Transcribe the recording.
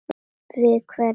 Við hvern?